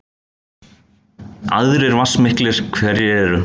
Aðrir vatnsmiklir hverir eru